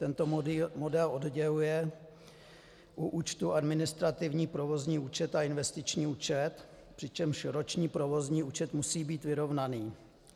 Tento model odděluje u účtu administrativní provozní účet a investiční účet, přičemž roční provozní účet musí být vyrovnaný.